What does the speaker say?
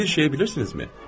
Bir şeyi bilirsinizmi?